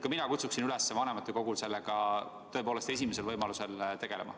Ka mina kutsun üles vanematekogu sellega esimesel võimalusel tegelema.